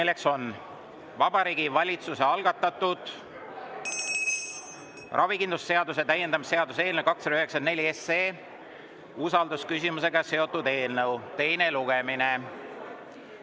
See on Vabariigi Valitsuse algatatud ravikindlustuse seaduse täiendamise seaduse eelnõu 294 teine lugemine.